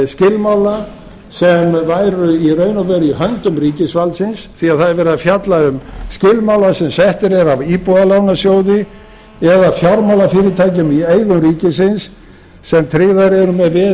skilmála sem væru í raun og veru í höndum ríkisvaldsins því það er verið að fjalla um skilmála sem settir eru af íbúðalánasjóði eða fjármálafyrirtækjum í eigu ríkisins sem tryggðar eru með veði í